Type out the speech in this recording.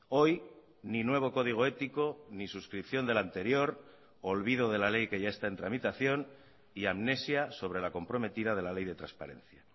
hoy ni nuevo código ético ni suscripción del anterior olvido de la ley que ya está en tramitación y amnesia sobre la comprometida de la ley de transparencia